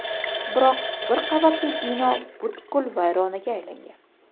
biroq bir qavatli bino butkul vayronaga aylangan.